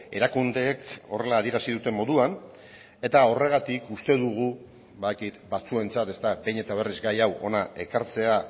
erakundeek horrela adierazi duten moduan eta horregatik uste dugu badakit batzuentzat behin eta berriz gaia hau hona ekartzea